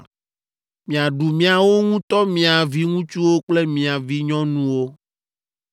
Miaɖu miawo ŋutɔ mia viŋutsuwo kple mia vinyɔnuwo,